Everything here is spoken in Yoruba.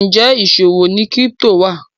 Njé ìṣòwò ní crypto wa?